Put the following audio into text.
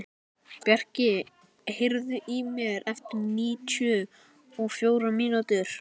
Bjarki, heyrðu í mér eftir níutíu og fjórar mínútur.